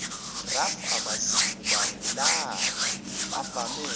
raf abazicubungulayo bavame